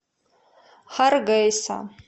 харгейса